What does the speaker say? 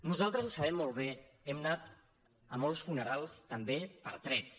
nosaltres ho sabem molt bé hem anat a molts funerals també per trets